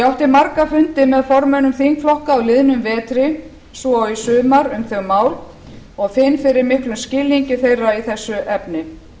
átti marga fundi með formönnum þingflokka á liðnum vetri svo og í sumar um þau mál og finn fyrir miklum skilningi þeirra í þessu efni